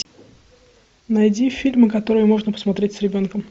найди фильмы которые можно посмотреть с ребенком